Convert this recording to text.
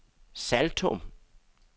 Saltum